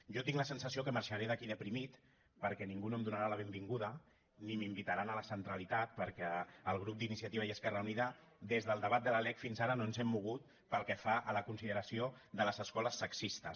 jo tinc la sensació que marxaré d’aquí deprimit perquè ningú no em donarà la benvinguda ni m’invitarà a la centralitat perquè el grup d’iniciativa i esquerra unida des del debat de la lec fins ara no ens hem mogut pel que fa a la consideració de les escoles sexistes